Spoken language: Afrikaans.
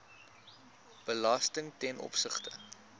belasting ten opsigte